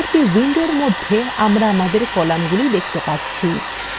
পরবর্তী window মধ্যে আমরা আমাদের কলামগুলি দেখতে পাচ্ছি